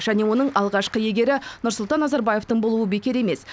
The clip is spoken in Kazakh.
және оның алғашқы иегері нұрсұлтан назарбаевтың болуы бекер емес